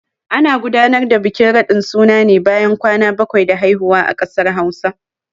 Ana gudanar da bikin radin suna ne bayan kwana bakwai da haihuwa a kasar Hausa.